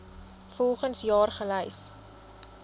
volgens jaar gelys